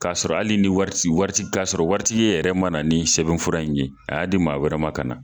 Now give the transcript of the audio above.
K'a sɔrɔ hali ni wari ti wari ka sɔrɔ wari tigi e yɛrɛ mana ni sɛbɛn fura in ye a y'a di maa wɛrɛ ma ka na